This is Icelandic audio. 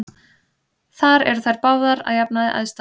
Þar eru þær báðar að jafnaði æðstar.